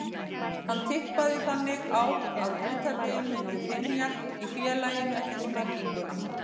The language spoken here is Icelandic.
Hann tippaði þannig á að hlutabréfin myndu hrynja í félaginu eftir sprenginguna.